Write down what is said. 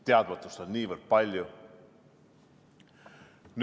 Teadmatust on niivõrd palju.